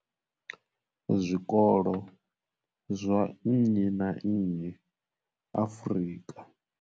Zwikolo zwa nnyi na nnyi Afrika.